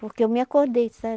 Porque eu me acordei, sabe?